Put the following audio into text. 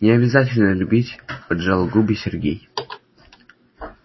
не обязательно любить поджал губы сергей